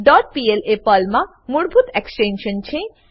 dot PL એ પર્લમા મૂળભૂત એક્સ્ટેંશન છે